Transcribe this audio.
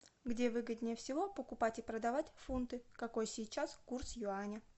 где выгоднее всего покупать и продавать фунты какой сейчас курс юаня